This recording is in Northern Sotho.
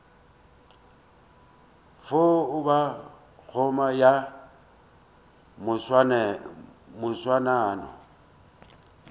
fo ba koma ya moswanano